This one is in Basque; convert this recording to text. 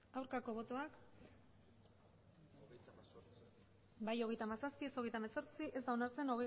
aurkako botoak emandako botoak hirurogeita hamabost bai hogeita hamazazpi ez hogeita hemezortzi ez da onartzen